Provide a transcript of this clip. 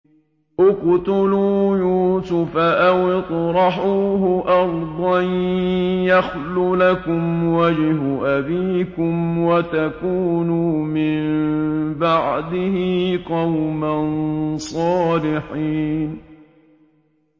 اقْتُلُوا يُوسُفَ أَوِ اطْرَحُوهُ أَرْضًا يَخْلُ لَكُمْ وَجْهُ أَبِيكُمْ وَتَكُونُوا مِن بَعْدِهِ قَوْمًا صَالِحِينَ